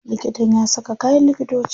Likitan ya saka kayan likitoci.